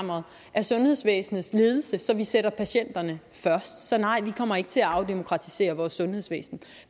af sundhedsvæsenets ledelse så vi sætter patienterne først så nej vi kommer ikke til at afdemokratisere vores sundhedsvæsen